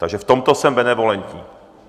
Takže v tomto jsem benevolentní.